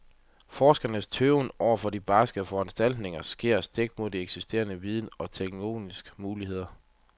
Forskernes tøven over for barske foranstaltninger sker stik imod eksisterende viden og teknologiens muligheder.